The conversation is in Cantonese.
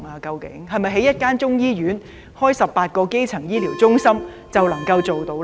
是否興建中醫院，設立18個基層醫療中心便能做到呢？